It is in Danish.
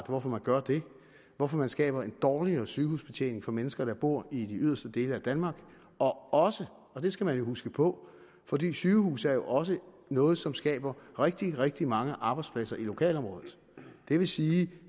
hvorfor man gør det hvorfor man skaber en dårligere sygehusbetjening for mennesker der bor i de yderste dele af danmark også og det skal man jo huske på fordi sygehuse også er noget som skaber rigtig rigtig mange arbejdspladser i lokalområdet det vil sige